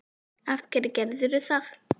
af hverju gerðir þú það?